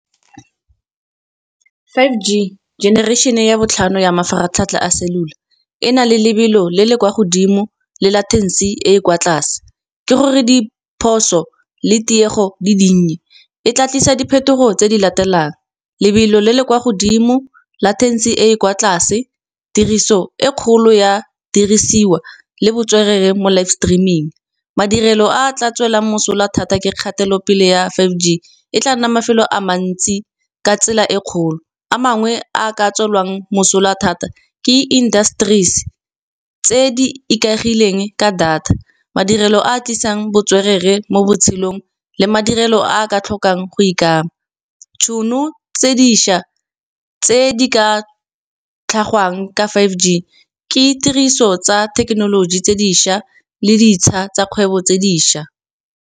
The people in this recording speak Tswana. Five G, generation ya botlhano ya mafaratlhatlha a cellular. E na le lebelo le le kwa godimo le latency e e kwa tlase, ke gore diphoso le tiego di dinnye e tlisa diphetogo tse di latelang, lebelo le le kwa godimo, latency e e kwa tlase, tiriso e kgolo ya dirisiwa le botswerere mo live streaming. Madirelo a tla tswelelang mosola thata ke kgatelopele ya Five G e tla nna mafelo a mantsi ka tsela e kgolo, a mangwe a ka tswelelang mosola thata ke industries, tse di ikaegileng ka data. Madirelo a tlisang botswerere mo botshelong le madirelo a ka tlhokang go ikama, ditšhono tse dišwa tse di ka tlhagelwang ka Five G, ke tiriso tsa thekenoloji tse dišwa le ditsha tsa kgwebo tse dišwa.